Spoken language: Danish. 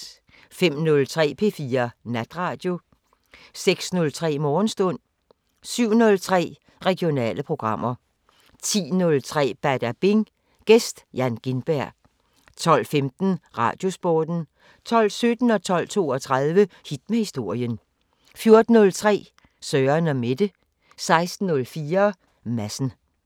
05:03: P4 Natradio 06:03: Morgenstund 07:03: Regionale programmer 10:03: Badabing: Gæst Jan Gintberg 12:15: Radiosporten 12:17: Hit med historien 12:32: Hit med historien 14:03: Søren & Mette 16:04: Madsen